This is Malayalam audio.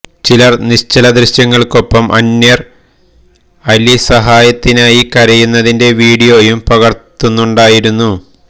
ചിലര് നിശ്ചല ദൃശ്യങ്ങള്ക്കൊപ്പം അന്വര് അലി സഹായത്തിനായി കരയുന്നതിന്റെ വീഡിയോയും പകര്ത്തുന്നുണ്ടായിരുന്നു